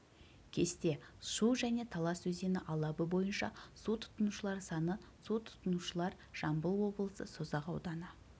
кесте шу және талас өзені алабы бойынша су тұтынушылар саны су тұтынушылар жамбыл облысы созақ ауданы